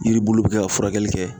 Yiri bulu be kɛ ka furakɛli kɛ